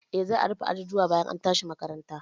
Eh, za a rufe ajujuwan bayan an tashi makaranta.